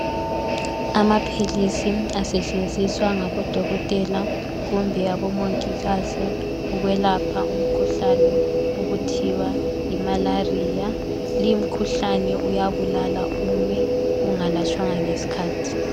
Amaphilisi asetshenziswa ngabodokotela kumbe abomongikazi ukwelapha umkhuhlane okuthiwa yiMalaria. Lumkhuhlane uyabulala uma ungalatshwanga ngesikhathi.